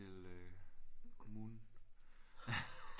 Kommunen